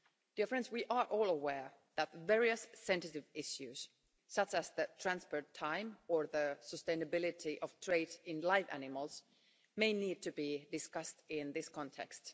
Dear friends, we are all aware that various sensitive issues such as the transport time or the sustainability of trade in live animals may need to be discussed in this context.